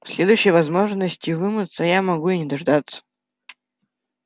следующей возможности вымыться я могу и не дождаться